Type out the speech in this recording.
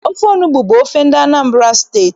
Ofe onugbu bụ ofe ndị Anambra steeti